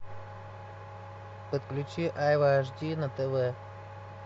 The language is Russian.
подключи айва аш ди на тв